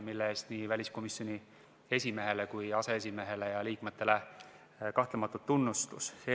Selle eest nii väliskomisjoni esimehele kui aseesimehele ja liikmetele kahtlemata suur tunnustus!